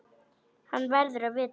Hann verður að vita það.